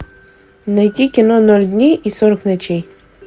найти кино ноль дней и сорок ночей